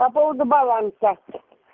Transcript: по поводу баланса